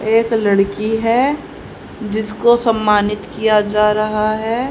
एक लड़की है जिसको सम्मानित किया जा रहा है।